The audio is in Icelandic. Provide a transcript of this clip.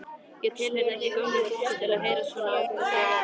Það tilheyrði ekki gömlu fólki að heyra svona ofboðslega vel.